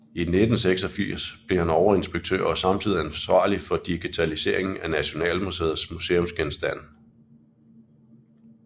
I 1986 blev han overinspektør og samtidig ansvarlig for digitaliseringen af Nationalmuseets museumsgenstande